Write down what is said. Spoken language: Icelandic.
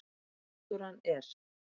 Náttúran er.